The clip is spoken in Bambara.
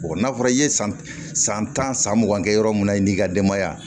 n'a fɔra i ye san tan san san mugan kɛ yɔrɔ min na i n'i ka denbaya